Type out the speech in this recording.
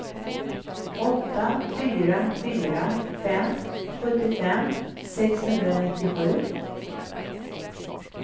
åtta fyra fyra fem sjuttiofem sexhundranittiosju